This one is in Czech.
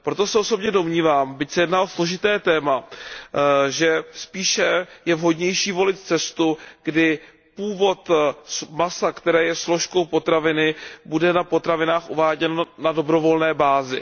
Proto se osobně domnívám, byť se jedná o složité téma, že spíše je vhodnější volit cestu, kdy původ masa, které je složkou potraviny, bude na potravinách uváděn na dobrovolné bázi.